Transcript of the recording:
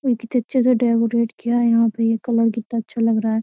कितने अच्छे से डेकोरेट किया यहाँ पे ये कलर कितना अच्छा लग रहा है।